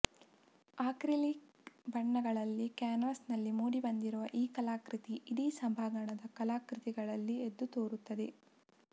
acrylic ಬಣ್ಣಗಳಲ್ಲಿ ಕ್ಯಾನ್ವಾಸ್ನಲ್ಲಿ ಮೂಡಿಬಂದಿರುವ ಈ ಕಲಾಕೃತಿ ಇಡೀ ಸಭಾಂಗಣದ ಕಲಾಕೃತಿಗಳಲ್ಲಿ ಎದ್ದುತೋರುತ್ತದೆ